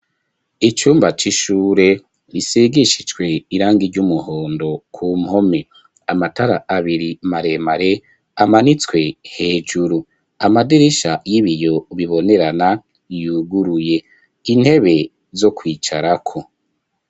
Icumba c'shure risigishijwe irangi iry'umuhondo ku mpome. Amatara abiri maremare amanitswe hejuru. Amadirisha y'ibiyo bibonerana yuguruye intebe zo kwicarako.